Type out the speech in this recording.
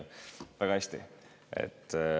Väga hästi!